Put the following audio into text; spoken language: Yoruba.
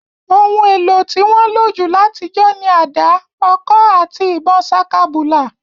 Oun èlo to won nlo jù látijọ́ ni ada, ọ̀kọ̀ àti ìbon sakabùlà